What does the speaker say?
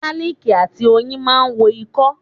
Gáálìkì àti oyin máa ń wo ikọ́.